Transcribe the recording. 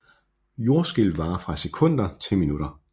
Jordskælv varer fra sekunder til minutter